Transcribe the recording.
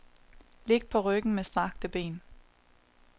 Lig på ryggen med strakte ben.